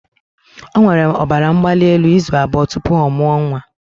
O nwere ọbara mgbali elu izu abụọ tupu ọ mụọ nwa